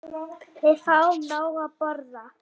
Við fáum nóg að borða.